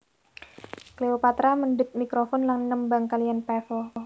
Cleopatra mendhet mikrofon lan nembang kaliyan Pavel